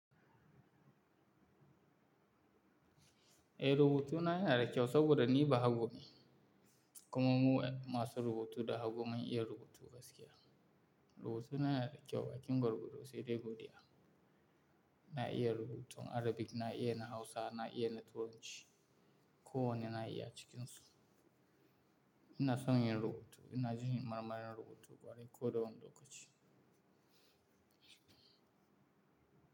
Eh, rubutu na yana da kyau saboda ni bahago ne. Kuma mu masu rubutu da haggu mun'iya rubutu gaskiya. Rubutu na yana da kyau, bakin gwargwado sai dai godiya. Na iya rubutun Arabic, na iya na Hausa, na iya na Turanci. Ko wane na iya cikinsu. Ina son yin rubutu, ina jin marmarin rubutu kwarai ko da wani lokaci.